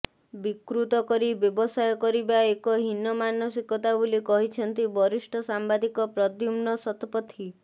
ବିକୃତକରି ବ୍ୟବସାୟ କରିବା ଏକ ହୀନ ମାନସିକତା ବୋଲି କହିଛନ୍ତି ବରିଷ୍ଠ ସାମ୍ୱାଦିକ ପ୍ରଦ୍ୟୁମ୍ନ ଶତପଥୀ